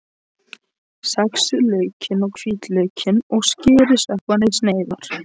Saxið laukinn og hvítlaukinn og skerið sveppina í sneiðar.